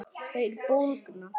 Þeir bólgna.